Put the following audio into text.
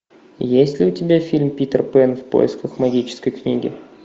есть ли у тебя фильм питер пэн в поисках магической книги